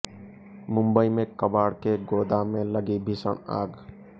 मुंबई में कबाड़ के गोदाम में लगी भीषण आग